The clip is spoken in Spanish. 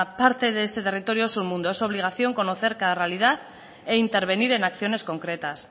parte de ese territorio es un mundo es su obligación conocer cada realidad e intervenir en acciones concretas